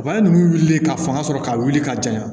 Bana ninnu wulili ka fanga sɔrɔ ka wuli ka janya